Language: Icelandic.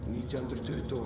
nítján hundruð tuttugu